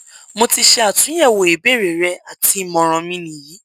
mo ti ṣe atunyẹwo ibeere rẹ ati imọran mi ni yi